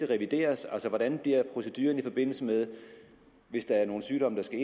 revideres hvordan bliver proceduren hvis der er nogle sygdomme der skal